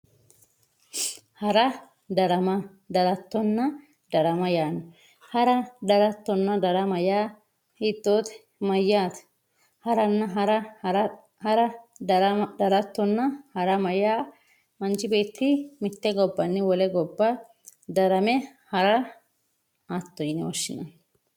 hara daramma darattonna darama yaano hara daramma darattonna darama yaa hiitoote mayaate haranna hara hara darama darattonna darama yaa manchi beeti mitte gobbanni wole gobba darame hara hatto yine woshshinanni